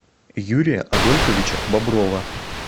юрия адольфовича боброва